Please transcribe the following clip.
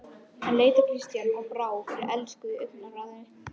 Hann leit á Christian og brá fyrir elsku í augnaráðinu.